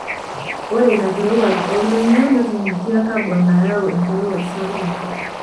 Ore ina kirowuaj ooldonyio netunguekia kabon nayau enkirowuaj sapuk enkop.